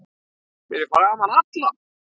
Fyrir framan alla?